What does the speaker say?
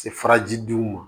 Se faraji duw ma